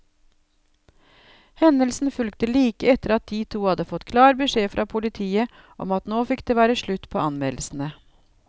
Hendelsen fulgte like etter at de to hadde fått klar beskjed fra politiet om at nå fikk det være slutt på anmeldelsene.